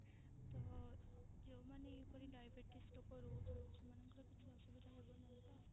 ତ ଯୋଉ ମାନେ ଏହି ପରି diabetes ଲୋକ ରହୁଛନ୍ତି ସେମାନଙ୍କର କିଛି ଅସୁବିଧା ହେବ ନାହିଁ ତ?